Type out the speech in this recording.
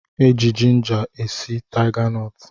E ji jinja e si taiganọtụ